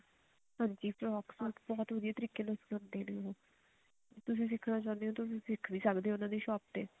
ਹਾਂਜੀ frock suit ਬਹੁਤ ਵਧੀਆ ਤਰੀਕੇ ਨਾਲ ਸਿਖਾਉਂਦੇ ਨੇ ਉਹ ਤੁਸੀਂ ਸਿੱਖਣਾ ਚਾਹੁੰਦੇ ਹੋ ਤੁਸੀਂ ਸਿੱਖ ਵੀ ਸਕਦੇ ਹੋ ਉਹਨਾ ਦੀ ਸ਼ੋਪ ਤੇ